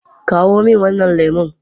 Kawo min wannan lemu.